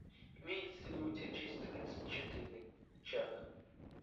имеется ли у тебя часть тридцать четыре чак